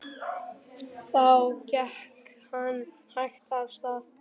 Þá gekk hann hægt af stað.